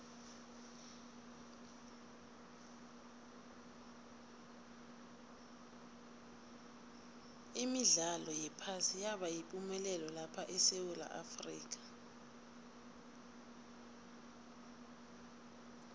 imidlalo yephasi yaba yipumelelo lapha esewula afrika